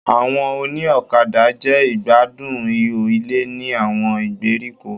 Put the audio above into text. Àwọn òní ọ̀kadà jẹ́ ìgbádùn ihò ilé ní àwọn ìgbèríko.